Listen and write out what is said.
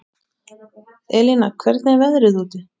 Elína, hvernig er veðrið úti?